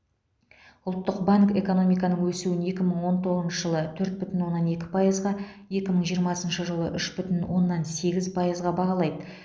ұлттық банк экономиканың өсуін екі мың он тоғызыншы жылы төрт бүтін оннан екі пайызға екі мың жиырмасыншы жылы үш бүтін оннан сегіз пайызға бағалайды